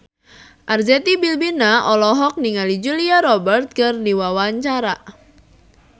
Arzetti Bilbina olohok ningali Julia Robert keur diwawancara